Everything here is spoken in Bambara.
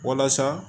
Walasa